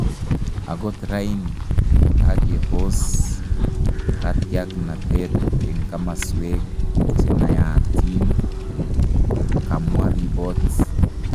ogot raini, kagepoos katyagnatet en kamasweg chenaatiin, kamwa ribo-ot